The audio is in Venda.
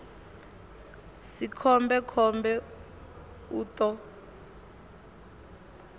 si khombe khombe u ṱo